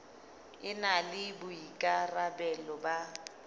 e na le boikarabelo ba